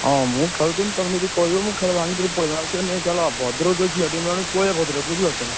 ହଁ ମୁଁ ଖେଳୁଥିଲି। ତମେ ଯଦି କହିବ ମୁଁ ଖେଳ ଭାଙ୍ଗି ଦେଇ ପଳେଇବି। ଭଦ୍ରକ ଯଦି ଯିବା ପଳେଇବା ଭଦ୍ରକ ବୁଝିପାରୁଛନା।